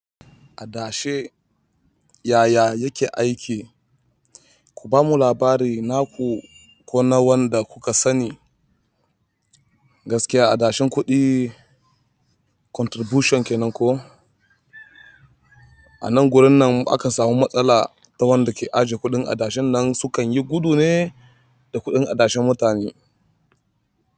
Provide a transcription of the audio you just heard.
Adashe yaya yake aiki? Ku bamu labari naku ko na wanda kuka sani. Gaskiya adashin kuɗi contribution kenan koh? Anan gurin nan akan samu matsala wanda ke ajjekuɗin adashin nan sukanyi gudu ne da kuɗin adashin mutane.